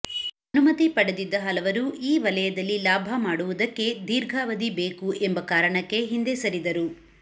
ಅನುಮತಿ ಪಡೆದಿದ್ದ ಹಲವರು ಈ ವಲಯದಲ್ಲಿ ಲಾಭ ಮಾಡುವುದಕ್ಕೆ ದೀರ್ಘಾವಧಿ ಬೇಕು ಎಂಬ ಕಾರಣಕ್ಕೆ ಹಿಂದೆ ಸರಿದರು